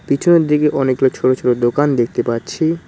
পিছনের দিকে অনেকগুলো ছোট ছোট দোকান দেখতে পাচ্ছি।